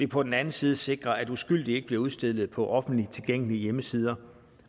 på den anden side at sikre at uskyldige ikke bliver udstillet på offentligt tilgængelige hjemmesider